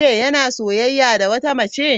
Yana soyayya da wata mace.